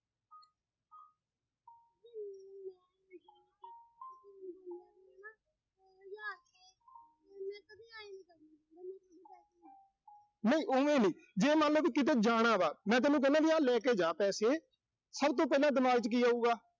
ਨਹੀਂ ਓਵੇਂ ਨੀਂ, ਜੇ ਮੰਨ ਲਾ ਵੀ ਕਿਤੇ ਜਾਣਾ ਵਾ, ਮੈਂ ਤੈਨੂੰ ਕਹਿਣਾ ਵੀ ਆਹ ਲੈ ਕੇ ਜਾ ਪੈਸੇ। ਸਭ ਤੋਂ ਪਹਿਲਾਂ ਦਿਮਾਗ ਚ ਕੀ ਆਊਗਾ।